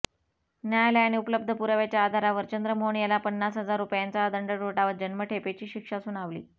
न्यायालयाने उपलब्ध पुराव्याच्या आधारावर चंद्रमोहन याला पन्नासहजार रुपयाचा दंड ठोठावत जन्मठेपेची शिक्षा सुनावली